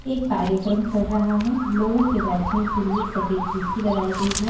एक कार्यक्रम चल रहा है लोगों के बैठने के लिए सफेद कुर्सी लगाई गई है।